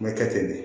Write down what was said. Mɛ kɛ ten de